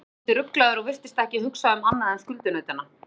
Hann var dálítið ruglaður og virtist ekki hugsa um annað en skuldunautana.